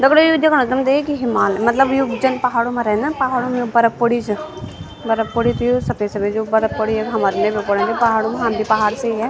दगड़ियों यो देखेणु तुम्थे कि हिमा मतलब यू जन पहाडू मा रेंद ना पहाडु मा बर्फ प्वाडी च बर्फ प्वाडी च ये सफेद-सफेद जु बर्फ प्वाड़ी हमर वे मा प्वाडनी पहाडु हम बि पहाड से ही हैं।